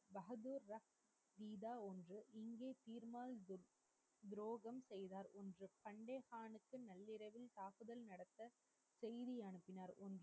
ரகத்து ஒன்று துரோகம் செய்தார் என்று சந்கேச்தானில் நள்ளிரவில் தாக்குதல் நடத்த செய்தி அனுப்பினார் என்று